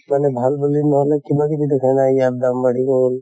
মানে ভাল বুলি নহলে তোমাক ইয়াত দাম বাঢ়ি গʼল।